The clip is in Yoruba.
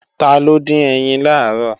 Taló dín ẹyin làárọ̀?